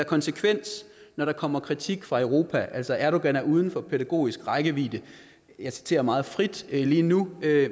konsekvens når der kommer kritik fra europa altså at erdogan er uden for pædagogisk rækkevidde jeg citerer meget frit lige nu